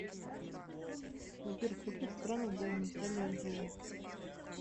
сбер в каких странах была наталья андреевна